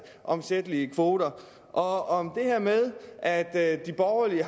omsættelige kvoter og om det her med at at de borgerlige